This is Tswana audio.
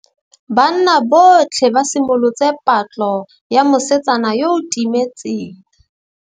Banna botlhê ba simolotse patlô ya mosetsana yo o timetseng.